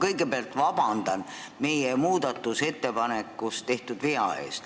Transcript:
Kõigepealt vabandust meie muudatusettepanekus tehtud vea pärast!